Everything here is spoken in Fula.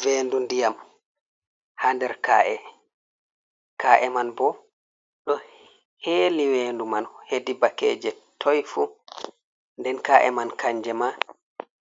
Vendu ndiyam, ha nder kaa’e, kaa'e man bo ɗo heeli vendu man hedi bakkeje toy fu, nden kaa’e man kanje ma